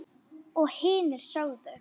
Og hinir sögðu: